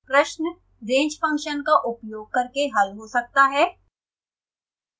प्रश्न range function का उपयोग करके हल हो सकता है